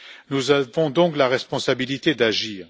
Nous avons donc la responsabilité d'agir.